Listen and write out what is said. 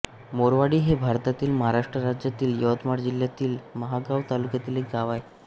मोरवाडी हे भारतातील महाराष्ट्र राज्यातील यवतमाळ जिल्ह्यातील महागांव तालुक्यातील एक गाव आहे